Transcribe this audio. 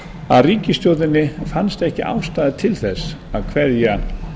að ríkisstjórninni fannst ekki ástæða til þess að kveðja